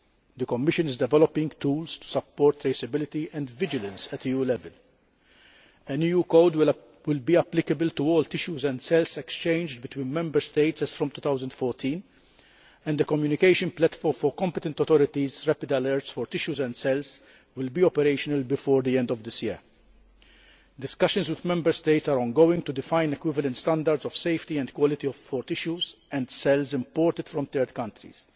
The Commission is developing tools to support traceability and vigilance at EU level. An EU code will be applicable to all tissues and cells exchanged between Member States as from 2014 and the communication platform for competent authorities' rapid alerts for tissues and cells will be operational before the end of this year. Discussions with Member States are ongoing to define equivalent standards of safety and quality for tissues and cells imported from third countries.